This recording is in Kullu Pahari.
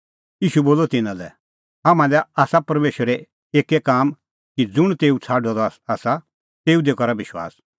ईशू बोलअ तिन्नां लै तम्हां लै आसा परमेशरो एक्कै काम कि ज़ुंण तेऊ छ़ाडअ द आसा तेऊ दी करा विश्वास